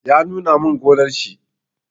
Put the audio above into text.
Ya nuna min gonnar shi.